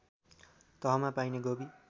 तहमा पाइने गोबी